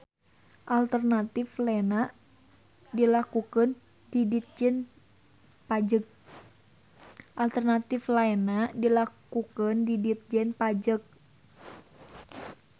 Alternatif laena dilakukeun di Ditjen Pajeg.